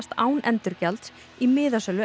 án endurgjalds í miðasölu